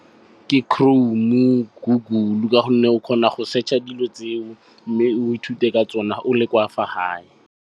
Ke Chrome-o, Google ka gonne o kgona go search-a dilo tseo, mme o ithute ka tsona o le kwa fa gae.